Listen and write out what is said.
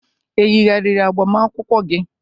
e yigharịrị agbamakwụkwọ gị?